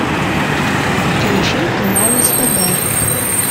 включи канал стб